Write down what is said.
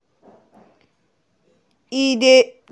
e dey